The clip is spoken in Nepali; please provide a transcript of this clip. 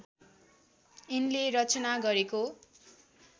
यिनले रचना गरेको